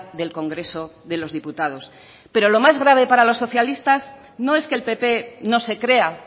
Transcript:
del congreso de los diputados pero lo más grave para los socialistas no es que el pp no se crea